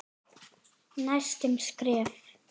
Næstu skref?